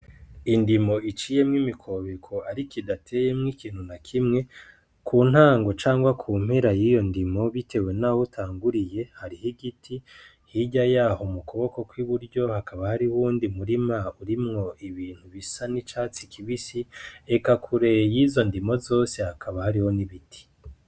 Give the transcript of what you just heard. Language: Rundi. Indimo iciyemwo imikobeko ariko idateyemwo ikintu na kimwe, ku ntango canke ku mpera y'iyo ndimo bitewe naho utanguriye hariho igiti, hirya yaho mu kuboko kw'iburyo hakaba hariho uwundi murima urimwo ibintu bisa n'icatsi kibisi, eka kure y'izo ndimo zose hakaba hariho n'ibiti.